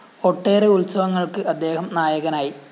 ഒട്ടേറെ ഉത്സവങ്ങള്‍ക്ക് അദ്ദേഹം നായകനായി